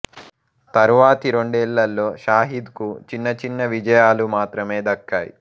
తరువాతి రెండేళ్ళలో షాహిద్ కు చిన్న చిన్న విజయాలు మాత్రమే దక్కాయి